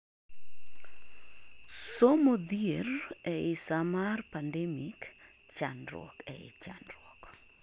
somo dhier ei saa mar pandemic: chandruok ei chandruok